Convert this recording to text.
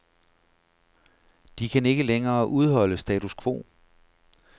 De kan ikke længere udholde status quo.